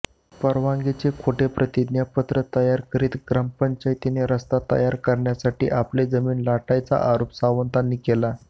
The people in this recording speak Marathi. परवानगीचे खोटं प्रतिज्ञापत्र तयार करत ग्रामपंचायतीने रस्ता तयार करण्यासाठी आपली जमीन लाटल्याचा आरोप सावंतांनी केलाय